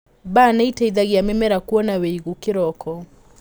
Mbaa nĩiteithagia mĩmera kuona wĩigũ kĩroko.